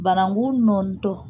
Barakun nɔɔni tɔ